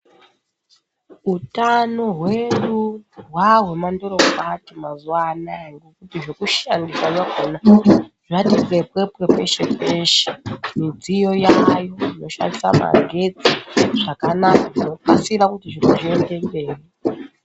Utano hwedu hwahwemandorokwati mazuva anaya ngekuti zvekushandisa zvakona zvati pwe pwe pwe peshe peshe midziyo yayo yoshandisa maghetsi zvakanaka zvokasira kuti zviro zviende mberi.